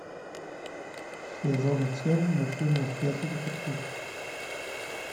сезон семь мультфильм настоящий детектив